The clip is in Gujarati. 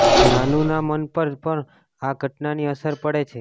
નાનૂના મન પર પણ આ ઘટનાની અસર પડે છે